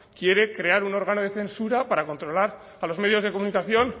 quiere crear un órgano de censura para controlar a los medios de comunicación